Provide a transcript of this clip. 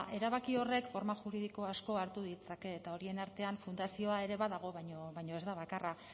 erabaki horrek forma juridiko asko hartu ditzake eta horien artean fundazioa ere badago baino ez da bakarra